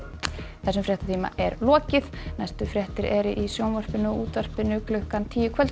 þessum fréttatíma er lokið næstu fréttir eru í sjónvarpi og útvarpi klukkan tíu í kvöld